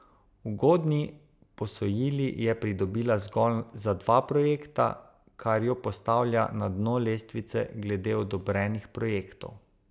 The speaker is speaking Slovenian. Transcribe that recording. Ugodni posojili je pridobila zgolj za dva projekta, kar jo postavlja na dno lestvice glede odobrenih projektov.